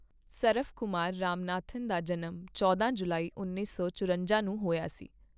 ਸਰਵਕੁਮਾਰ ਰਾਮਨਾਥਨ ਦਾ ਜਨਮ ਚੌਂਦਾ ਜੁਲਾਈ ਉੱਨੀ ਸੌ ਚੁਰੰਜਾ ਨੂੰ ਹੋਇਆ ਸੀ।